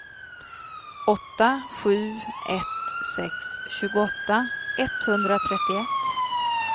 åtta sju ett sex tjugoåtta etthundratrettioett